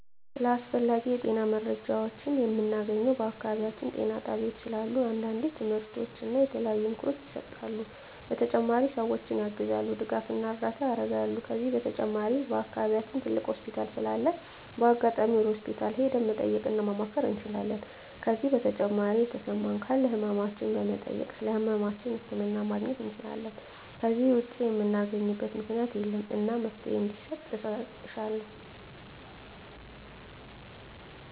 ስለ አስፈላጊ የጤና መረጃዎችን ምናገኘው በአካባቢያችን ጤና ጣቤያዎች ስላሉ አንዳንዴ ትምህርቶች እና የተለያዩ ምክሮች ይሰጣሉ በተጨማሪ ሰዎችን ያግዛሉ ድጋፍና እርዳታ ያረጋሉ ከዚህ በተጨማሪ በአከባቢያችን ትልቅ ሆስፒታል ስላለ በአጋጣሚ ወደ ሆስፒታል ሄደን መጠየቅ እና ማማከር እንችላለን ከዜ በተጨማሪ የተሰማን ካለ ህመማችን በመጠየክ ስለህመማችን ህክምና ማግኘት እንችላለን ከዜ ውጭ ምናገኝበት ምክኛት የለም እና መፍትሔ እንዲሰጥ እሻለሁ